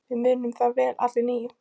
Við munum það vel allir níu.